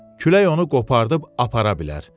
Külək onu qoparıb apara bilər.